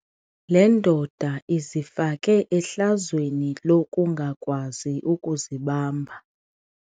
Le ndoda izifake ehlazweni lokungakwazi ukuzibamba.